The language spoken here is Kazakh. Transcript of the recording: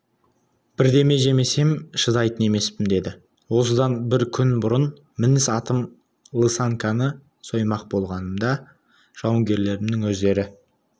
бірдеме жемесем шыдайтын емеспін деді осыдан бір күн бұрын мініс атым лысаньканы соймақ болғанымда жауынгерлерімнің өздері